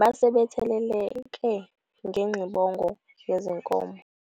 basebetheleleke ngengxibongo yezinkomo.